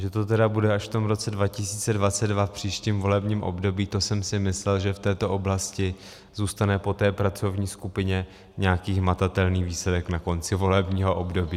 Že to tedy bude až v tom roce 2022, v příštím volebním období, to jsem si myslel, že v této oblasti zůstane po té pracovní skupině nějaký hmatatelný výsledek na konci volebního období.